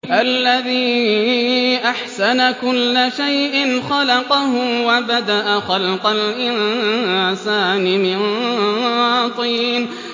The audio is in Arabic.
الَّذِي أَحْسَنَ كُلَّ شَيْءٍ خَلَقَهُ ۖ وَبَدَأَ خَلْقَ الْإِنسَانِ مِن طِينٍ